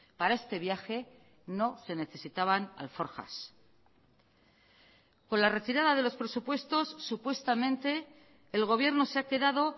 para este viaje no se necesitaban alforjas con la retirada de los presupuestos supuestamente el gobierno se ha quedado